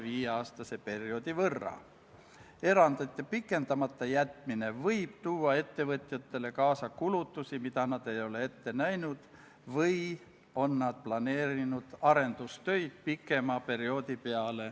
Riigikaitsekomisjon arutas eelnõu enne teisele lugemisele esitamist oma k.a 21. oktoobri istungil ning kiitis konsensuslikult heaks eelnõu teise lugemise teksti ja seletuskirja.